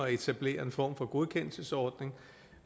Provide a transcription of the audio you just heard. at etablere en form for godkendelsesordning